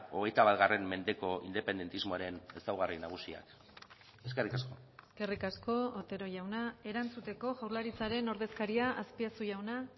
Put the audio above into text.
hogeita bat mendeko independentismoaren ezaugarri nagusiak eskerrik asko eskerrik asko otero jauna erantzuteko jaurlaritzaren ordezkaria azpiazu jauna